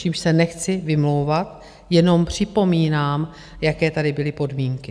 Čímž se nechci vymlouvat, jenom připomínám, jaké tady byly podmínky.